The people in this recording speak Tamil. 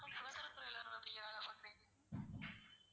சுகாதாரத்துறைல நான் வேலை பாக்கறேன்